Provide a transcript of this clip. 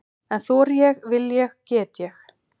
En þori ég, vil ég, get ég?